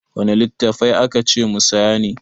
Wanne littattafai aka ce mu saya ne?